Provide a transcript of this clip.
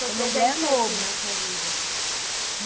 Foi Novo Presente sempre na sua vida?